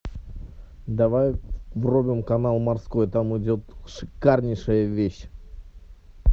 давай врубим канал морской там идет шикарнейшая вещь